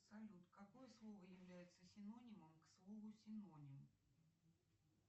салют какое слово является синонимом к слову синоним